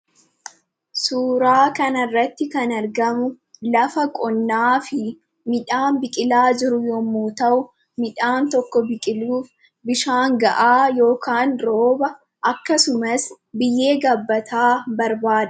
Suuraa kana irratti kan argamu, lafa qonnaa fi midhaan biqilaa jiru yemmuu ta'u, midhaan tokko biqiluuf bishaan gahaa yookiin rooba, akkasumas biyyee gabbataa barbaada.